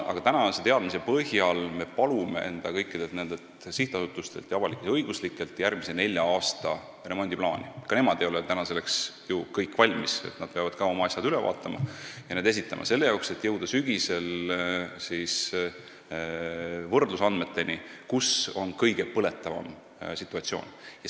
Aga tänase teadmise põhjal me palume kõikidelt nendelt sihtasutustelt ja avalik-õiguslikelt asutustelt järgmise nelja aasta remondiplaani – ka nemad ei ole selleks ju kõik valmis, nad peavad oma asjad üle vaatama ja need plaanid esitama – selle jaoks, et jõuda sügisel võrdlusandmeteni, mille alusel saaks näha, kus on kõige põletavam situatsioon.